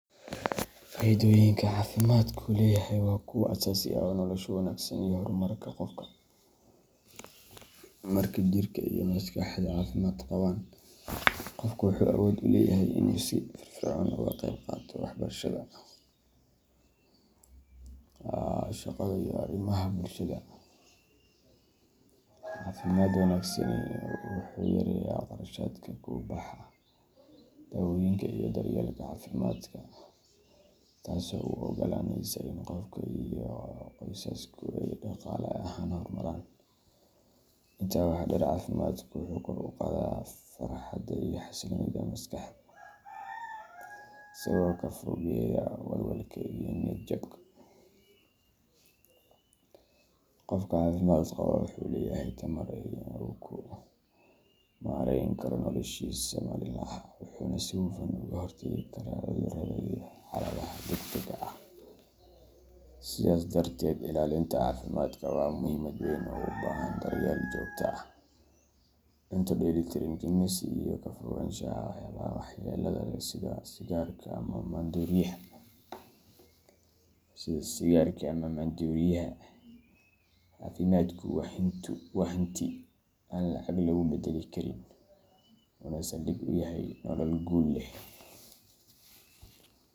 Faa’iidooyinka caafimaadku leeyahay waa kuwo aasaasi u ah nolosha wanaagsan iyo horumarka qofka. Marka jirka iyo maskaxdu caafimaad qabaan, qofku wuxuu awood u leeyahay inuu si firfircoon uga qayb qaato waxbarashada, shaqada, iyo arrimaha bulshada. Caafimaad wanaagsani wuxuu yareeyaa kharashaadka ku baxa daawooyinka iyo daryeelka caafimaadka, taasoo u oggolaanaysa in qofka iyo qoysasku ay dhaqaale ahaan horumaraan. Intaa waxaa dheer, caafimaadku wuxuu kor u qaadaa farxadda iyo xasiloonida maskaxda, isagoo ka fogeeya walwalka iyo niyadjabka. Qofka caafimaad qaba wuxuu leeyahay tamar uu ku maarayn karo noloshiisa maalinlaha ah, wuxuuna si hufan uga hortagi karaa cudurrada iyo xaaladaha degdegga ah. Sidaas darteed, ilaalinta caafimaadka waa muhiimad weyn oo u baahan daryeel joogto ah, cunto dheellitiran, jimicsi, iyo ka fogaanshaha waxyaabaha waxyeellada leh sida sigaarka ama maandooriyaha. Caafimaadku waa hanti aan lacag lagu beddeli karin, wuxuuna saldhig u yahay nolol guul leh.